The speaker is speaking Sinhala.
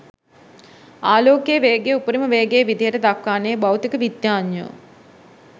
ආලෝකයේ වේගය උපරිම වේගය විදිහට දක්වන්නේ භෞතික විද්‍යාඥයෝ.